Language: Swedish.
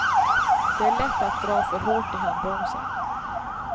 Det är lätt att dra för hårt i handbromsen.